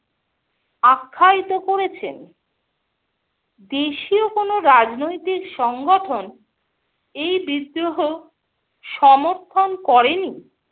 আখ্যায়িত করেছেন। দেশীয় কোনো রাজনৈতিক সংগঠন এই বিদ্রোহ সমর্থন করেনি।